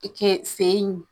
I ke fe yen